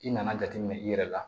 I nana jateminɛ i yɛrɛ la